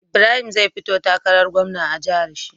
Ibrahim zai fito takarar gwamna a jahar shi